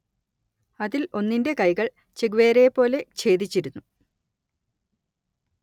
അതിൽ ഒന്നിന്റെ കൈകൾ ചെഗുവേരയെപ്പോലെ ഛേദിച്ചിരുന്നു